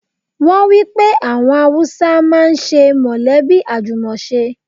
Wọ́n wípé àwọn Haúsá ń máa ń ṣe mọ̀lẹ́bí àjùmọ̀ ṣe.